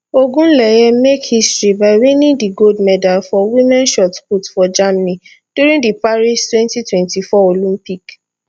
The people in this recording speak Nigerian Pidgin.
ogunleye make history by winning di gold medal for women shot put for germany during di paris 2024 olympic